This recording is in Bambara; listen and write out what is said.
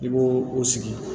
I b'o o sigi